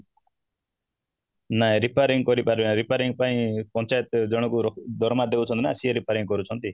ନାଇଁ repairing କରିପାରିବା repairing ପାଇଁ ପଞ୍ଚାୟତ ଜଣଙ୍କୁ ଦରମା ଦଉଛନ୍ତି ନା ସିଏ repairing କରୁଛନ୍ତି